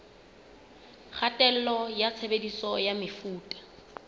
kgatello ya tshebediso ya mefuta